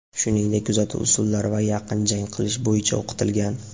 shuningdek kuzatuv usullari va yaqin jang qilish bo‘yicha o‘qitilgan.